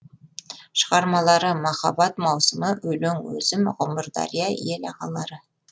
шығармалары махаббат маусымы өлең өзім ғұмырдария ел ағалары